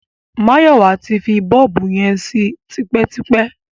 Máyọ̀wá ti fi bọ́ọ̀bù yẹn sí tipẹ́tipẹ́.